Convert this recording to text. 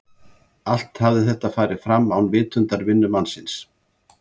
Allt hafði þetta farið fram án vitundar vinnumannsins.